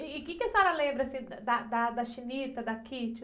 E o quê que a senhora lembra, assim, da, da, da, da?